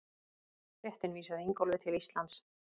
Fréttin vísaði Ingólfi til Íslands.